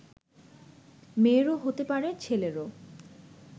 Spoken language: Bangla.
মেয়েরও হতে পারে, ছেলেরও